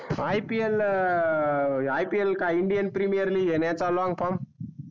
IPL अं का indian premier league येण याच्या long form?